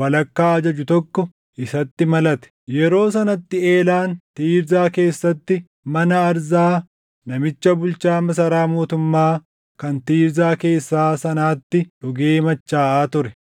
walakkaa ajaju tokko isatti malate. Yeroo sanatti Eelaan Tiirzaa keessatti mana Arzaa namicha bulchaa masaraa mootummaa kan Tiirzaa keessaa sanaatti dhugee machaaʼaa ture.